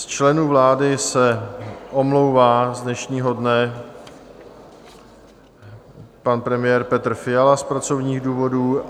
Z členů vlády se omlouvá z dnešního dne pan premiér Petr Fiala z pracovních důvodů...